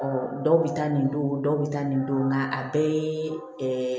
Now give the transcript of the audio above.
dɔw bɛ taa nin don dɔw bɛ taa nin don nka a bɛɛ ye